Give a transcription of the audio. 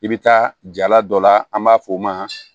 I bɛ taa jala dɔ la an b'a fɔ o ma